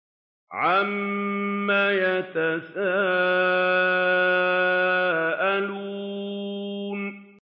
عَمَّ يَتَسَاءَلُونَ